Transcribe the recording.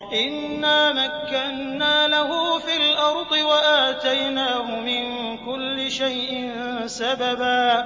إِنَّا مَكَّنَّا لَهُ فِي الْأَرْضِ وَآتَيْنَاهُ مِن كُلِّ شَيْءٍ سَبَبًا